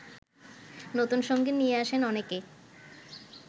নতুনসঙ্গী নিয়ে আসেন অনেকে